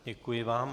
Děkuji vám.